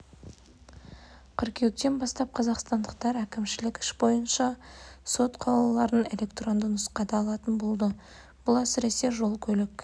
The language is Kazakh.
қыркүйектен бастап қазақстандықтар әкімшілік іс бойынша сот қаулыларын электронды нұсқада алатын болады бұл әсіресе жол көлік